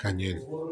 Ka ɲɛ